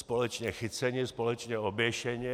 Společně chyceni, společně oběšeni.